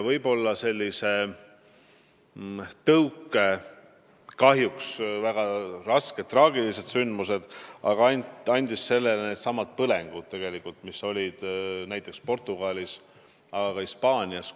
Tõuke andsid sellele kahjuks väga rasked, traagilised sündmused, näiteks põlengud, mis olid Portugalis ja ka Hispaanias.